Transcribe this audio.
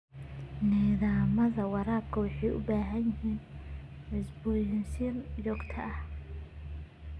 Nidaamyada waraabka waxay u baahan yihiin cusboonaysiin joogto ah.